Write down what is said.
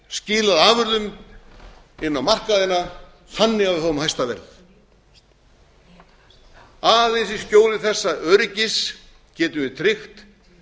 skilað afurðum inn á markaðina þannig að við fáum hæsta verð aðeins í skjóli þessa öryggis getum við tryggt